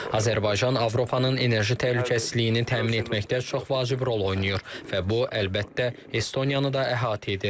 Azərbaycan Avropanın enerji təhlükəsizliyini təmin etməkdə çox vacib rol oynayır və bu, əlbəttə, Estoniyanı da əhatə edir.